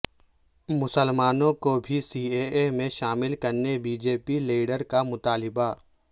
مسلمانوں کوبھی C A A میں شامل کرنے بی جے پی لیڈر کا مطالبہ